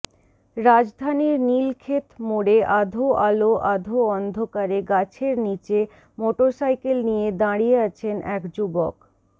রাজধানীর নীলক্ষেত মোড়ে আধো আলো আধো অন্ধকারে গাছের নিচে মোটরসাইকেল নিয়ে দাঁড়িয়ে আছেন এক যুবক